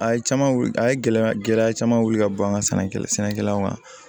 A ye caman wuli a ye gɛlɛya gɛlɛya caman wili ka bɔ an ka sɛnɛkɛla sɛnɛkɛlaw ma